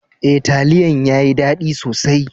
E, talliyan ya yi dadi sosai.